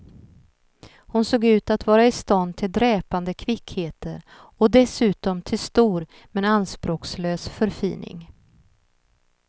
Hon såg ut att vara i stånd till dräpande kvickheter och dessutom till stor men anspråkslös förfining.